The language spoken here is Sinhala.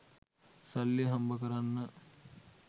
සල්ලි හම්බ කරන්න